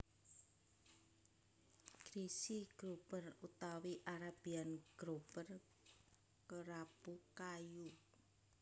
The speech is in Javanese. Greasy Grouper utawi Arabian Grouper Kerapu kayu